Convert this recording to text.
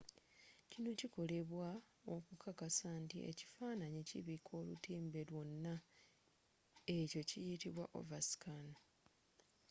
kino kikolebwa okukakasa nti ekifaananyi kibika olutimbe lyonna. ekyo kiyitibwa overscan